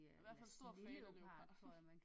Er i hvert fald stor fan af leopard